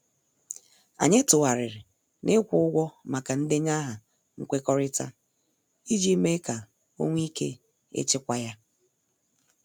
Anyị tụgharịrị na- ikwu ụgwọ maka ndenye aha nkwekọrịta ,iji mee ka ọ nwee ike ịchịkwa ya.